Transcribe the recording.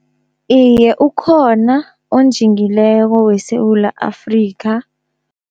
Iye ukhona onjingileko weSewula Afrika.